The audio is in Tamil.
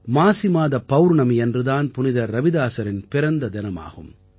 மாசிமாத பௌர்ணமியன்று தான் புனிதர் ரவிதாஸாரின் பிறந்த தினமாகும்